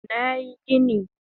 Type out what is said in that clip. Nayi gini